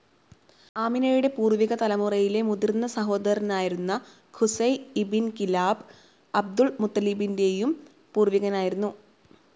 ആമിനയുടെ പൂർവിക തലമുറയിലെ മുതിർന്ന സഹോദരനായിരുന്ന ഖുസൈ ഇബിൻ കിലാബ് അബ്ദുൽ മുത്തലിബിൻറെയും പൂർവികനായിരുന്നു.